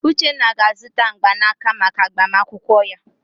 Uchenna ga-azụta mgbanaka maka agbamakwụkwọ ya.